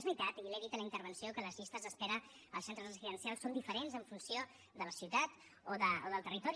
és veritat i li ho he dit a la intervenció que les llistes d’espera als centres residencials són diferents en funció de la ciutat o del territori